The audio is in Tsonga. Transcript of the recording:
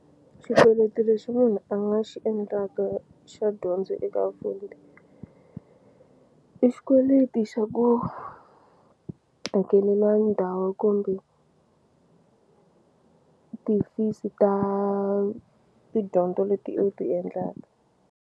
Xikweleti lexi munhu a nga xi endlaka xa dyondzo eka Fundi i xikweleti xa ku hakeleliwa ndhawu kumbe ti-fees ta tidyondzo leti u ti endlaka.